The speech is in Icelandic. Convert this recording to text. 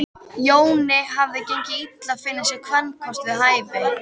Jóni hafði gengið illa að finna sér kvenkost við hæfi.